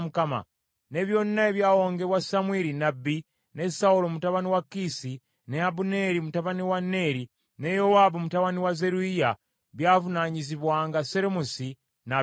Ne byonna ebyawongebwa Samwiri nnabbi, ne Sawulo mutabani wa Kiisi, ne Abuneeri mutabani wa Neeri, ne Yowaabu mutabani wa Zeruyiya byavunaanyizibwanga Seromisi n’ab’eŋŋanda ze.